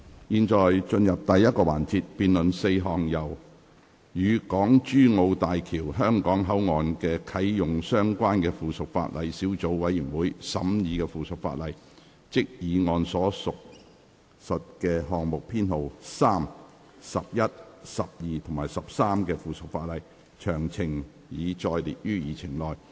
現在進入第一個環節，辯論4項由"與港珠澳大橋香港口岸的啟用相關的附屬法例小組委員會"審議的附屬法例，即議案所述的項目編號3、、及的附屬法例，詳情已載列於議程內。